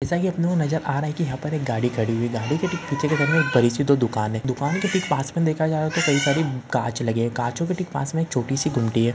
जैसा की अपने को नज़र आ रहा है कि यहाँ पर एक गाडी खड़ी हुई है गाडी के ठीक पीछे के साईड में एक बड़ी सी दुकान है दुकान के ठीक पास में देखा जाए तो कई सारे कांच लगे हैं काचों के ठीक पास में एक छोटी सी गुमटी है।